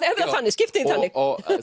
skiptum því þannig